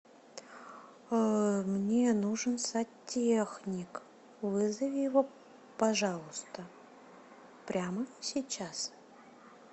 мне нужен сантехник вызови его пожалуйста прямо сейчас